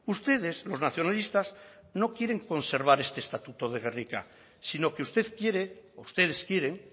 ustedes los nacionalistas no quieren conservar este estatuto de gernika sino que usted quiere ustedes quieren